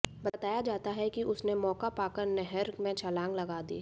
बताया जाता है कि उसने मौका पाकर नहर में छलांग लगा दी